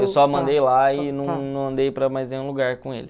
Eu só mandei lá e não nâo andei para mais nenhum lugar com ele.